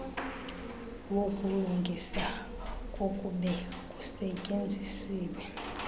wokulungisa kokube kusetyenzisiwe